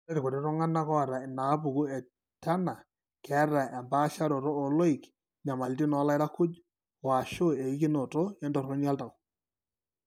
Ore irkuti tung'anak oata inaapuku eTurner keeta empaasharoto ooloik, inyamalitin oolairakuj, o/ashu eikinoto entoroni oltau.